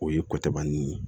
O ye kɔkɛ bannen ye